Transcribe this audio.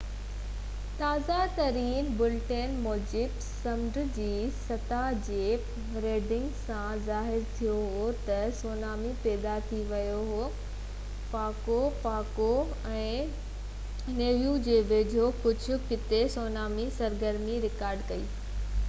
تازه ترين بُليٽن موجب سمنڊ جي سطح جي ريڊنگز سان ظاهر ٿيو هو ته سونامي پيدا ٿي ويو هو پاگو پاگو ۽ نيوو جي ويجهو ڪجهه قطعي سونامي سرگرمي رڪارڊ ڪئي وئي هئي